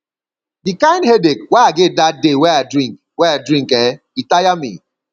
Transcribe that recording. di kind headache wey i get dat day wey i drink wey i drink eh e tire me